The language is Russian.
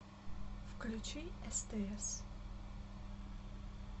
включи стс